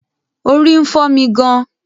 Orí ń fọ́ mi gàn-an